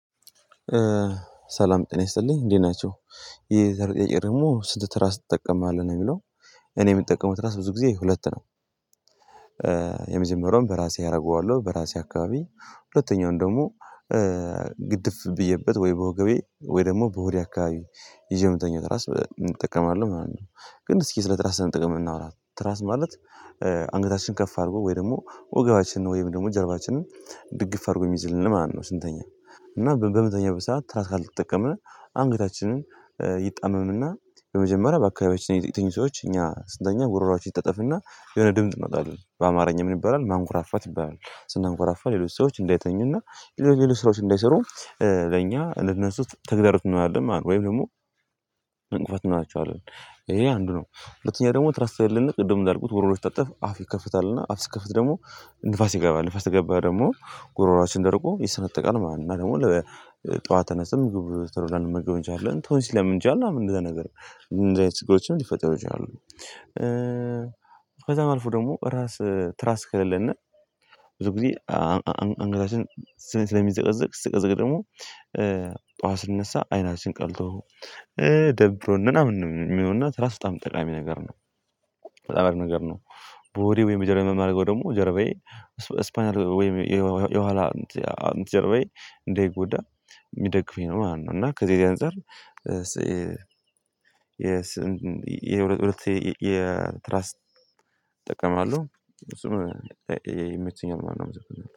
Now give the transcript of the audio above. ሰላም ጤና ይስጥልኝ እንዴት ናቸው የዛሬው ጥያቄ ደግሞ ስንት ትራስ ትጠቀማለህ ነው እሚለው? እኔ እምጠቀመው ትራስ ብዙ ጊዜ ሁለት ነው። የመጀመሪያውን በራሴ አደርገዋለሁ በራሴ አካባቢ ሁለተኛውን ደግሞ ግድፍ ብዬበት ወይ በወገቤ ወይ ደግሞ በሆዴ አካባቢ ይዤ እመተኛው ትራስ እንጠቀማለን ማለት ነው። ግን እስኪ ስለ ትራስ ጥቅም እናወራ ትራስ ማለት አንገታችን ከፍ አድርጎ ወይ ደግሞ ወገባችንን ወይ ደግሞ ጀርባችንን ድግፍ አድርጎ እሚይዝልን ማለት ነው። ስንተኛ እና በምንተኛበት ሰዓት ትራስ ካልተጠቀምን አንገታችንን ይጣመምና በመጀመሪያ በአካባቢያችን የተኙ ሰዎች እኛ ስንተኛ ጉሮሮአቸው ይታጠፍና የሆነ ድምጽ እናውጣለን በአማርኛ ምን ይባላል ማንኮራፋት ይባላል ስናንኮራፋ ሌሎች ሰዎች እንዳይተኙና ሌሎች ስራዎች እንዳይሰሩ ለእኛ ልንነሳው ተግዳሮት እንሆናለን ማለት ነው። ወይም ደግሞ እንቅፋት እናደርጋቸዋለን ይሄ አንዱ ነው። ሁለተኛ ደግሞ ትራስ ተሌለነ ቅድም እንዳልኩት ጉሮሮ ሲታጠፍ አፍ ይከፍታል እና አፍ ስከፍት ደግሞ ንፋስ ይገባል ንፋስ ተገባ ደግሞ ጉሮሮአችን ደርቆ ይሰነጠቃል ማለት ነው። እና ደግሞ ጠዋት ተነስተን ምግብ ቶሎ ላንመገብ እንችላለን ቶንሲል ሊያመን ይችላል እንደዛ ነገር እንደዚህ አይነት ችግሮች ሊፈጥረው ይችላሉ። ከዛ መልኩ ደግሞ ራስ ትራስ ከሌለና ብዙ ጊዜ አንገታችን ስለሚዘቀዘቅ ስቀዘቅ ደግሞ ጠዋት ስንነሳ አይናችን ቀልቶ ደብሮን ነው ምናምን የሚሆንና ትራስ በጣም ጠቃሚ ነገር ነው። በጣም ነገር ነው። በወሬ ወይም ጀርባዬ የማደርገው ደግሞ ጀርባዬ ስፓንያል ወይም የኋላ ጀርባዬ እንደይ ጉዳ የሚደግፈኝ ነው ማለት ነው። እና ከዚህ የዚህ አንፃር የስ የስ የሁለት ሁለት የትራስት እጠቀማለሁ እሱም ይመቼኛል ማለት ነው